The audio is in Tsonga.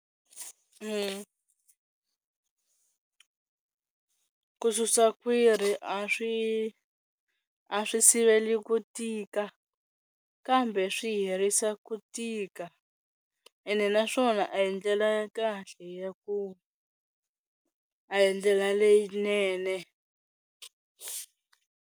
Ku susa kwhiri a swi a swi siveli ku tika kambe swi herisa ku tika ene naswona a hi ndlela ya kahle ya ku a hi ndlela leyinene.